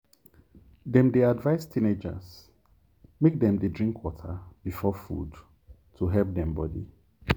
dem dey advise teenagers make dem dey drink water before food to help dem body.